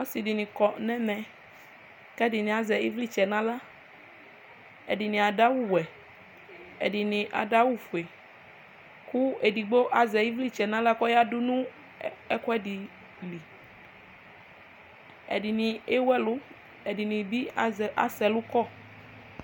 ɔse di ni kɔ n'ɛmɛ k'ɛdini azɛ ivlitsɛ n'ala ɛdini ado awu wɛ ɛdini ado awu fue kò edigbo azɛ ivlitsɛ n'ala k'ɔya do no ɛkoɛdi li ɛdini ewu ɛlu ɛdini bi azɛ asɛ ɛlu kɔ